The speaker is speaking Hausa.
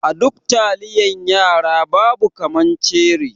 A duk taliyan yara babu kaman ceri.